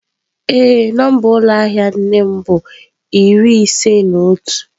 Ee, nọmba ụlọ ahịa nne m bu iri ise na otu.